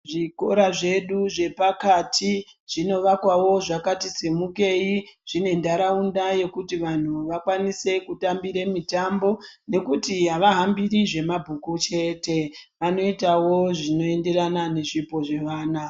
Zvikora zvedu zvepakati zvinovakwawo zvakati simukeyi zvine ndaraunda yekuti vantu vakwanise kutambire mitombo nekuti havahambiri zvemabhuku chete vanoitawo zvinoenferana nezvipo zvevana.